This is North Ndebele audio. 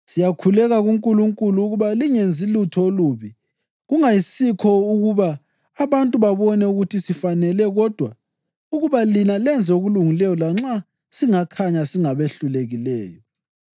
Siyakhuleka kuNkulunkulu ukuba lingenzi lutho olubi. Kungayisikho ukuba abantu babone ukuthi sifanele kodwa ukuba lina lenze okulungileyo lanxa singakhanya singabehlulekileyo.